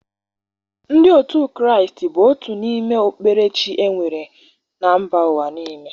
Ndị otu Kraịst bụ otu n'ime okpukperechi e nwere na mba ụwa niile.